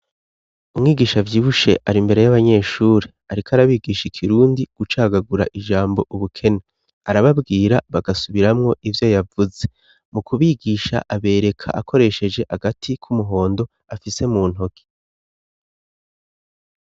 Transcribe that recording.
Umwigisha avyibushe ari mbere y'abanyeshure ariko arabigisha ikirundi gucagagura ijambo ubukene. Arababwira bagasubiramwo ivyo yavuze. Mu kubigisha abereka akoresheje agati k'umuhondo afise mu ntoke.